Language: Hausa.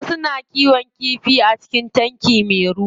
Wasu na kiwon kifi a cikin tanki me ruwa.